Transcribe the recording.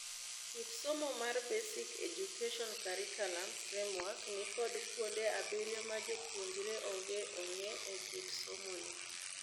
Kit somo mar Basic Education Curriculum Framework ni kod kuonde abirio majopuonjre onge ong'e e kit somo ne.